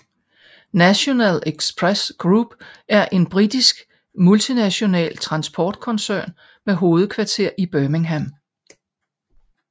National Express Group er en britisk multinational transportkoncern med hovedkvarter i Birmingham